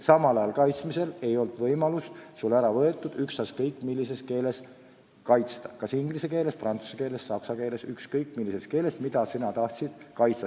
Samal ajal ei olnud meilt võetud võimalust töö ükskõik mis keeles kaitsta – kas inglise keeles, prantsuse keeles, saksa keeles või mingis muus keeles, milles keegi kaitsta tahtis.